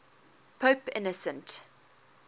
pope innocent